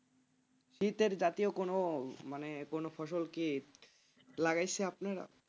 শীতের জাতীয় কোন মানে কোন ফসল কি লাগাইছে আপনারা?